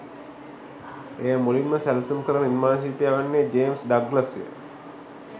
එය මුලින්ම සැලසුම් කල නිර්මාණ ශිල්පයා වන්නේ ජේම්ස් ඩග්ලස්ය